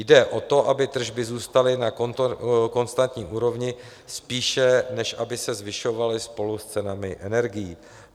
Jde o to, aby tržby zůstaly na konstantní úrovni, spíše než aby se zvyšovaly spolu s cenami energií.